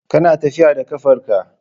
Kana tafiya da ƙafar ka.